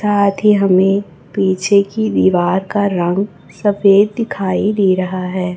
साथी हमें पीछे की दीवार का रंग सफेद दिखाई दे रहा है।